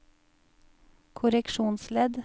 korreksjonsledd